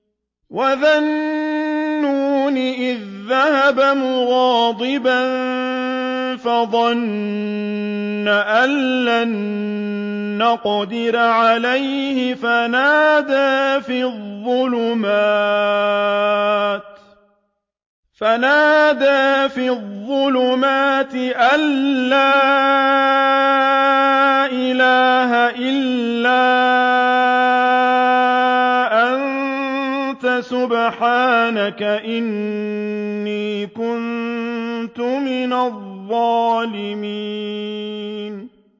وَذَا النُّونِ إِذ ذَّهَبَ مُغَاضِبًا فَظَنَّ أَن لَّن نَّقْدِرَ عَلَيْهِ فَنَادَىٰ فِي الظُّلُمَاتِ أَن لَّا إِلَٰهَ إِلَّا أَنتَ سُبْحَانَكَ إِنِّي كُنتُ مِنَ الظَّالِمِينَ